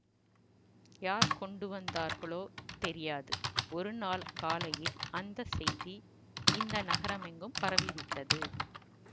யார் கொண்டு வந்தார்களோ தெரியாது ஒருநாள் காலையில் அந்த செய்தி இந்த நகரமெங்கும் பரவிவிட்டது